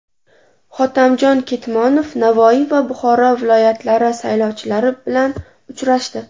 Hotamjon Ketmonov Navoiy va Buxoro viloyatlari saylovchilari bilan uchrashdi.